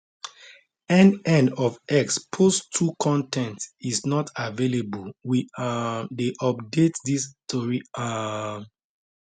end end of x post 2 con ten t is not available we um dey update dis tori um